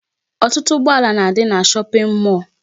Ọtụtụ ụgbọala na-adị na shopping mall.